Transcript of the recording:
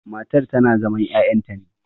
matar tana zaman ya'yanta ne